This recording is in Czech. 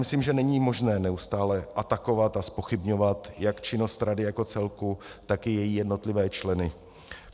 Myslím, že není možné neustále atakovat a zpochybňovat jak činnost rady jako celku, tak i její jednotlivé členy.